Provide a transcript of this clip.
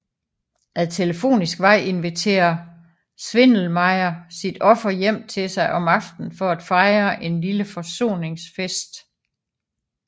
Ad telefonisk vej inviterer Schwindelmeyer sit offer hjem til sig om aftenen for at fejre en lille forsoningsfest